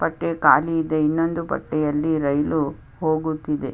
ಒಂದು ಪಟರಿ ಕಾಳಿ ಇದೆ ಇನೊಂದು ಪಟ್ರಿಯಲ್ಲಿ ರೈಲು ಹೋಗುತ್ತಿದೆ.